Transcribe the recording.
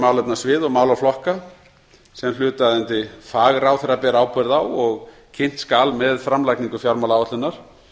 málefnasvið og málaflokka sem hlutaðeigandi fagráðherra ber ábyrgð á og kynnt skal með framlagningu fjármálaáætlunar